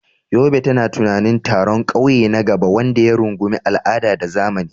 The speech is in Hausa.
Yobe tana tunanin taron ƙauye na gaba wanda ya rungumi al'ada da zamani.